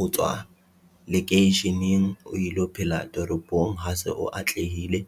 Ho tswa lekeisheneng o ilo phela toropong, ha se o atlehile